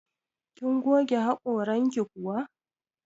Kin goge haƙoranki kuwa?